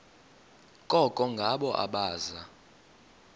koko ngabo abaza